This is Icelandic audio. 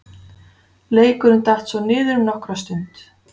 Leikurinn datt svo niður um nokkra stund.